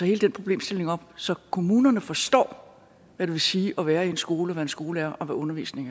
hele den problemstilling op så kommunerne forstår hvad det vil sige at være i en skole være en skolelærer og hvad undervisning